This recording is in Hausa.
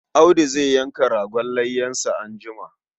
Audu zai yanka ragon layyansa anjima.